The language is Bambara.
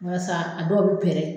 Walasa a dɔw bɛ pɛɛrɛ.